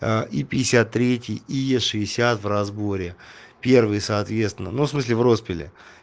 аа и пятьдесят третий и шестьдесят в разборе первый соответственно ну в смысле в распиле